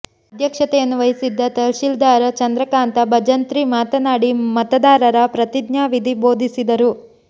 ಅಧ್ಯಕ್ಷತೆಯನ್ನು ವಹಿಸಿದ್ದ ತಹಶೀಲ್ದಾರ ಚಂದ್ರಕಾಂತ ಭಜಂತ್ರಿ ಮಾತನಾಡಿ ಮತದಾರರ ಪ್ರತಿಜ್ಞಾ ವಿಧಿ ಬೋಧಿಸಿದರು